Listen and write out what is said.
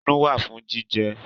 Ẹnu wạ fun jijẹ.